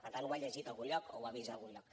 per tant ho ha llegit a algun lloc o ha vist a algun lloc